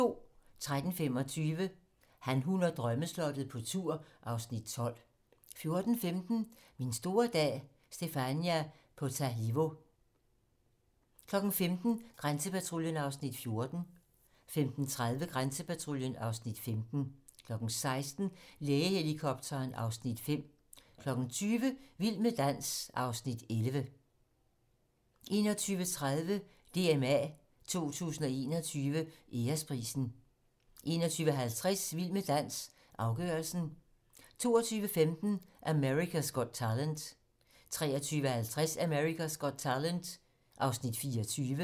13:25: Han, hun og drømmeslottet - på tur (Afs. 12) 14:15: Min store dag - Stephania Potalivo 15:00: Grænsepatruljen (Afs. 14) 15:30: Grænsepatruljen (Afs. 15) 16:00: Lægehelikopteren (Afs. 5) 20:00: Vild med dans (Afs. 11) 21:30: DMA 2021 Æresprisen 21:50: Vild med dans - afgørelsen 22:15: America's Got Talent 23:50: America's Got Talent (Afs. 24)